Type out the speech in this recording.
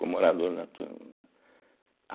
Como orador da turma.